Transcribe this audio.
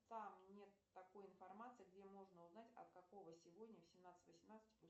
там нет такой информации где можно узнать от какого сегодня в семнадцать восемнадцать